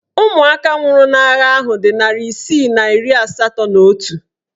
Ụmụaka nwụrụ n'agha ahụ dị narị isii na iri asatọ na otu